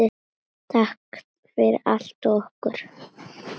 Takk fyrir allt og okkur.